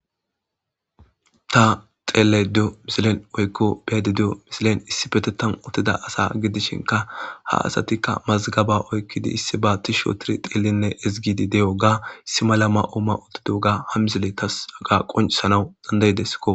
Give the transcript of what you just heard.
Ta xelayida deiyo misileni woyikko beada deiyo misilen issippeteththani uttida asa gidishshinkka ha asati mazigabani oyikidi tishi histi xeelidi hizigidi diyogga issi mala mayo mayodoga ha misiletasi qonicisanawu danidaidesikko